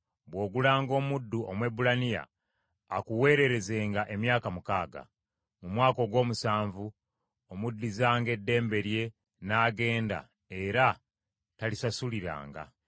“Bw’ogulanga omuddu Omwebbulaniya, akuweererezanga emyaka mukaaga. Mu mwaka ogw’omusanvu omuddizanga eddembe lye n’agenda, era talisasuliranga.